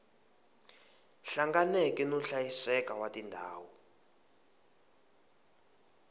hlanganeke no hlayiseka wa tindhawu